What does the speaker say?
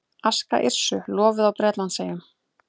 Aska Yrsu lofuð á Bretlandseyjum